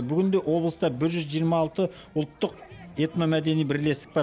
бүгінде облыста бір жүз жиырма алты ұлттық этномәдени бірлестік бар